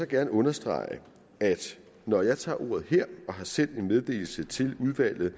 gerne understrege at når jeg tager ordet her og har sendt en meddelelse til udvalget